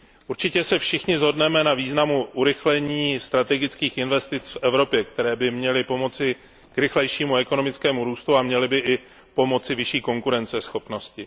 Určitě se všichni shodneme na významu urychlení strategických investic v Evropě, které by měly pomoci k rychlejšímu ekonomickému růstu a měly by i pomoci vyšší konkurenceschopnosti.